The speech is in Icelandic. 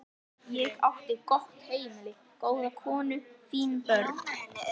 Ég átti gott heimili, góða konu, fín börn.